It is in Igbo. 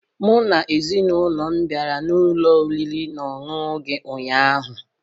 Mụ na ezinụlọ m bịara n'ụlọ oriri na ọṅụṅụ gị ụnyaahụ